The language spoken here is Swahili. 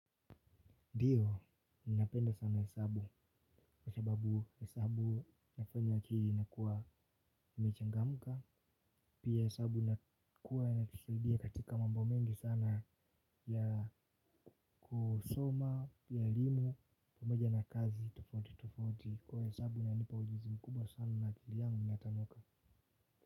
Ndiyo, ninapenda sana hesabu kwa sababu hesabu nafanya akli inakuwa imchangamka. Pia hesabu nakuwa ya kusaidia katika mambo mengi sana ya kusoma, ya elimu, pamoja na kazi tofauti tofauti. Kwa hesabu inanipa ujuzi mkubwa sana na akili yangu inatanoka.